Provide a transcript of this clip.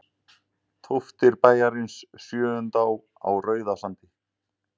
Tóftir bæjarins Sjöundá á Rauðasandi.